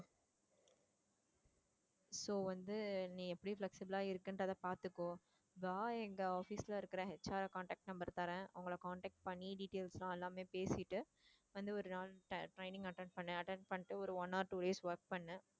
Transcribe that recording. so வந்து நீ எப்படி flexible ஆ இருக்குறன்றத பாத்துக்கோ, இதா எங்க office ல இருக்குற HR contact number தரேன் அவங்களை contact பண்ணி details லாம் எல்லாமே பேசிட்டு, வந்து ஒரு நாள் training attend பண்ணு attend பண்ணிட்டு ஒரு one or two days work பண்ணு